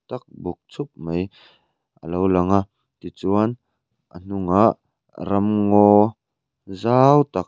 ak buk chhup mai a lo lang a tichuan a hnungah ramngaw zau tak.